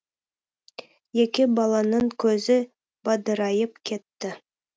екі баланың көзі бадырайып кетті